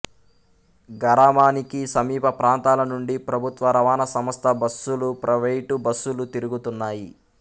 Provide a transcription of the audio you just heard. గరామానికి సమీప ప్రాంతాల నుండి ప్రభుత్వ రవాణా సంస్థ బస్సులుప్రైవేటు బస్సులు తిరుగుతున్నాయి